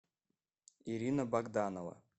ирина богданова